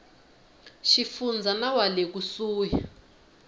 xifundza na wa le kusuhi